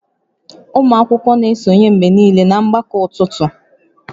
Ụmụ akwụkwọ na-esonye mgbe niile na mgbakọ ụtụtụ